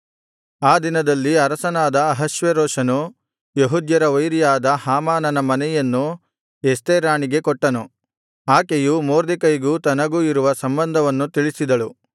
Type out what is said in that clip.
ಆ ದಿನದಲ್ಲಿ ಅರಸನಾದ ಅಹಷ್ವೇರೋಷನು ಯೆಹೂದ್ಯರ ವೈರಿಯಾದ ಹಾಮಾನನ ಮನೆಯನ್ನು ಎಸ್ತೇರ್ ರಾಣಿಗೆ ಕೊಟ್ಟನು ಆಕೆಯು ಮೊರ್ದೆಕೈಗೂ ತನಗೂ ಇರುವ ಸಂಬಂಧವನ್ನು ತಿಳಿಸಿದಳು